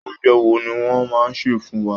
Oúnjẹ wo ni wọ́n máa sè fún wa?